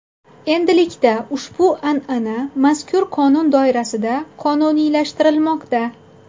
Endilikda ushbu an’ana mazkur qonun doirasida qonuniylashtirilmoqda.